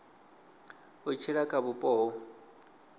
u tshila kha vhupo ho